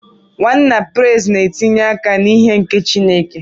Nwanna Praise na-etinye aka n'ihe nke Chineke.